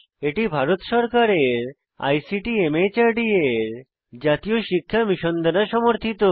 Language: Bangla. এটি ভারত সরকারের আইসিটি মাহর্দ এর জাতীয় শিক্ষা মিশন দ্বারা সমর্থিত